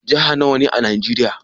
Jihar nawa ne a najeria?